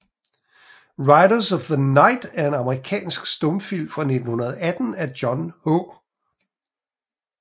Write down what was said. Riders of the Night er en amerikansk stumfilm fra 1918 af John H